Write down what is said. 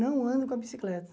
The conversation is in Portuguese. Não ando com a bicicleta.